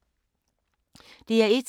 DR1